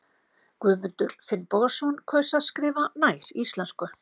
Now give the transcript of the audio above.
Guðmundur Finnbogason kaus að skrifa nær íslensku.